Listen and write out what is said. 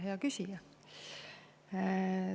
Hea küsija!